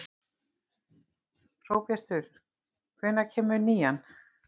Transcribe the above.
Hróbjartur, hvenær kemur nían?